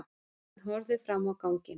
Hann horfði fram á ganginn.